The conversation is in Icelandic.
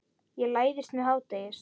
Ég læðist með hádegis